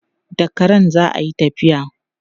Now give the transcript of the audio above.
Da karen za a yi tafiya.